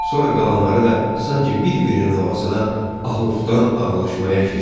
Sonra qalanları da sanki bir-birinin havasına ahuftan ağlaşmaya keçdilər.